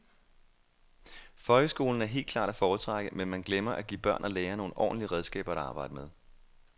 Folkeskolen er helt klart at foretrække, men man glemmer, at give børn og lærere nogle ordentlige redskaber at arbejde med.